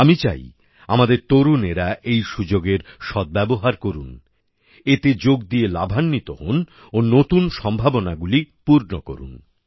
আমি চাই আমাদের তরুণেরা এই সুযোগের সদ্ব্যবহার করুন এতে যোগ দিয়ে লাভান্বিত হোন ও নতুন সম্ভাবনাগুলি পূর্ণ করুন